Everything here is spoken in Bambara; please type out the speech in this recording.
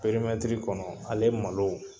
Perimɛtiri kɔnɔ ale malo.